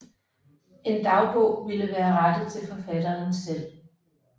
En dagbog ville være rettet til forfatteren selv